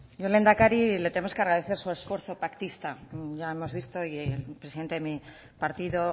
yo lehendakari le tenemos que agradecer su esfuerzo pactista ya hemos visto y el presidente de mi partido